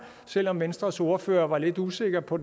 selv om venstres ordfører var lidt usikker på